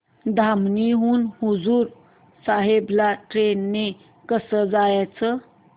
धामणी हून हुजूर साहेब ला ट्रेन ने कसं जायचं